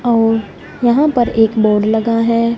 और यहां पर एक बोर्ड लगा है।